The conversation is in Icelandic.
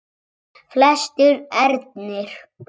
Flestir ernir